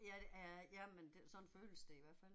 Ja æh ja men sådan føles det i hvert fald